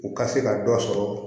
U ka se ka dɔ sɔrɔ